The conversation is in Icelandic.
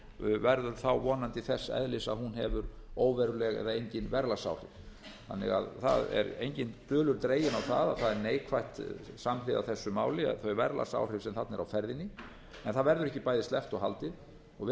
verður þá vonandi þess eðlis að hún hefur óveruleg eða engin verðlagsáhrif það er engin dulur dregin á að það er neikvæður þáttur samhliða þessu máli það er þau verðlagsáhrif sem þarna eru á ferðinni en það verður ekki bæði sleppt og haldið og